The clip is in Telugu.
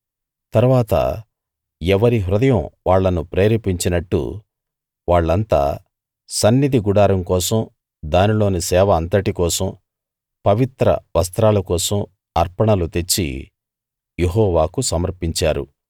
తరువాత ఎవరి హృదయం వాళ్ళను ప్రేరేపించినట్టు వాళ్ళంతా సన్నిధి గుడారం కోసం దానిలోని సేవ అంతటికోసం పవిత్ర వస్త్రాల కోసం అర్పణలు తెచ్చి యెహోవాకు సమర్పించారు